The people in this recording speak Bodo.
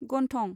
गन्थं